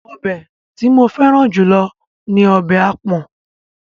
Ọbẹ̀ tí mo fẹ́ràn jù lọ ní ọbẹ̀ àpọ̀n.